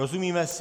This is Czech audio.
Rozumíme si?